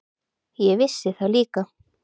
Ég vissi það líka.